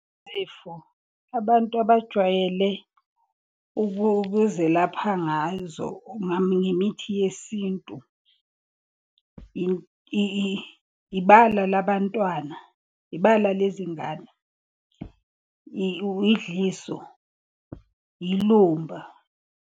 Izifo abantu abajwayele ukuzelapha ngazo ngemithi yesintu, ibala labantwana, ibala lezi ngane, idliso, ilumba.